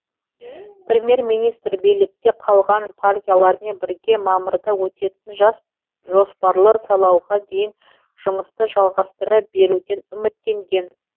премьер министр билікте қалған партиялармен бірге мамырда өтетін жоспарлы сайлауға дейін жұмысты жалғастыра беруден үміттенген